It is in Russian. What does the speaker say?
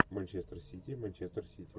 манчестер сити манчестер сити